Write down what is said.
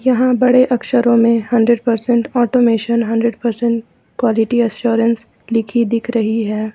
यहां बड़े अक्षरों में hundred percent automation hundred percent quality assurance लिखी दिख रही है।